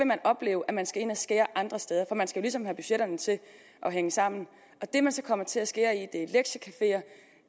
man opleve at man skal ind og skære andre steder for man skal jo ligesom have budgetterne til at hænge sammen og det man så kommer til at skære i